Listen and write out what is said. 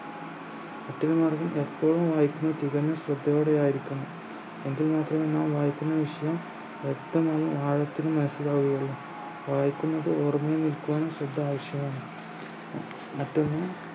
മറ്റൊന്ന് എപ്പോഴും വായിക്കുന്നത് തികഞ്ഞും ശ്രദ്ധയോടെ ആയിരിക്കണം എങ്കിലെ നിങ്ങൾ വായിക്കുന്ന വിഷയം വ്യക്തമായി ആഴത്തിൽ മനസിലാകുകയുള്ളു വായിക്കുന്നത് ഓർമയിൽ നിൽക്കുവാനും ശ്രദ്ധ ആവശ്യമാണ് മറ്റൊന്ന്